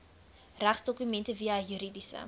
regsdokumente via juridiese